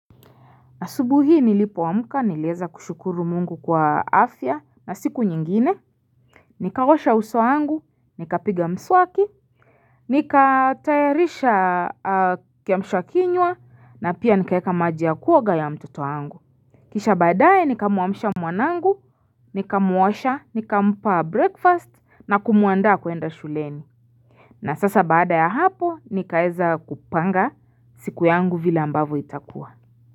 Na asubuhi nilipowamuka nilieza kushukuru mungu kwa afya na siku nyingine. Nikaosha uso angu, nikapiga mswaki, nikatayarisha kiamshwa kinywa na pia nikaeka maji ya kuoga ya mtoto wangu. Kisha badaye nikamuamshia mwanangu, nikamuosha, nikamupa breakfast na kumuanda kuenda shuleni. Na sasa badaya hapo nikaeza kupanga siku yangu vila ambavo itakua.